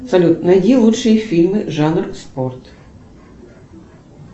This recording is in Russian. салют найди лучшие фильмы жанр спорт